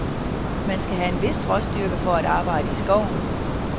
Man skal have en vis råstyrke for at arbejde i skoven.